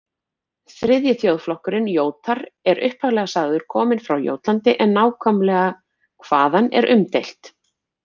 Þriðji þjóðflokkurinn, Jótar, er upphaflega sagður kominn frá Jótlandi en nákvæmlega hvaðan er umdeilt.